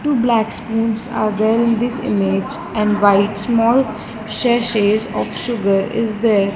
two black spoons are there in this image and white small sachet of sugar is there.